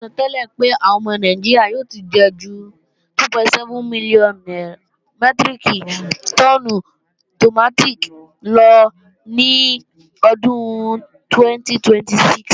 Àsọtẹ́lẹ̀ pé àwọn ọmọ Nàìjíríà ò ti jẹ ju 2.7 mílíọ̀nù mẹ́tíríkì tọ́ọ́nù tòmátì lọ ní ọdún 2026